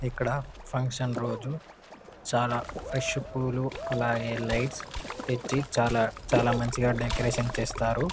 ఇక్కడ ఫంక్షన్ రోజు చాలా ఫ్రెష్ పూలు అలాగే లైట్స్ తెచ్చి చాలా చాలా మంచిగా డెకొరేషన్ చేస్తారు.